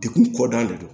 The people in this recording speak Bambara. Dekun kɔ da de don